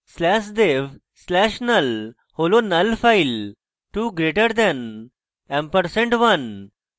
slash dev slash null হল নল file 2> & 1 2 greater dev ampersand 1